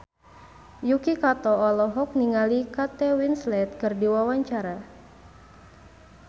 Yuki Kato olohok ningali Kate Winslet keur diwawancara